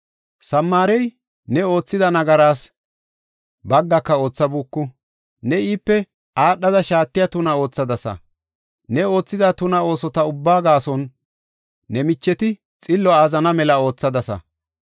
“Samaarey ne oothida nagaras baggaaka oothabuuku; ne iipe aadhada shaatiya tuna oothadasa. Ne oothida tuna oosota ubbaa gaason ne micheti xillo azzanana mela oothadasa.